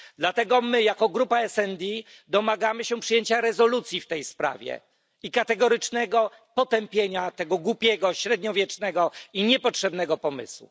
Dlatego my jako grupa SD domagamy się przyjęcia rezolucji w tej sprawie i kategorycznego potępienia tego głupiego, średniowiecznego i niepotrzebnego pomysłu.